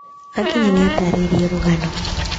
Akinya, nĩ aataarĩirio rũgano.